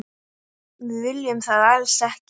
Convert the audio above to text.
Við viljum það alls ekki.